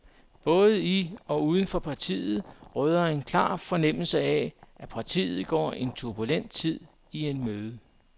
Både i og uden for partiet råder en klar fornemmelse af, at partiet går en turbulent tid i møde.